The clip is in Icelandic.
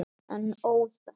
En óðal.